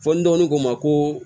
Fɔ ni dɔgɔnin ko ma ko